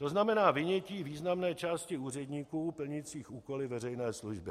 To znamená vynětí významné části úředníků plnících úkoly veřejné služby.